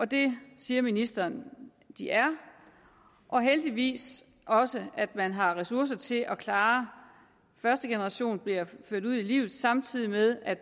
det siger ministeren at de er og heldigvis også at man har ressourcer til at klare at første generation bliver ført ud i livet samtidig med at